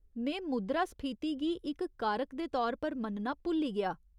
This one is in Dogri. में मुद्रास्फीति गी इक कारक दे तौर पर मन्नना भुल्ली गेआ।